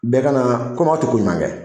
Bɛɛ ka na komi ɲuman kɛ